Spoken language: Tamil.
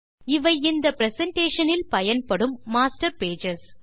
இவை இந்த பிரசன்டேஷன் இல் பயன்படும் மாஸ்டர் பேஜஸ்